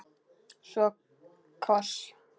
Svo koss.